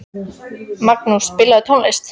Magnús, spilaðu tónlist.